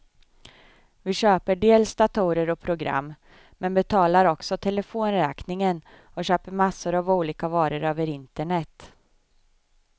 Vi köper dels datorer och program, men betalar också telefonräkningen och köper massor av olika varor över internet.